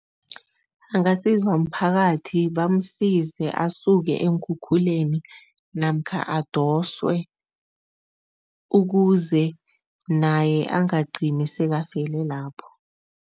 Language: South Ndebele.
Angasizwa mphakathi, bamsize asuke eenkhukhuleni namkha adoswe ukuze naye angagcini sekafele lapho.